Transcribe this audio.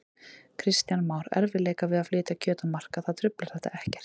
Kristján Már: Erfiðleikar við að flytja kjöt á markað, það truflar þetta ekkert?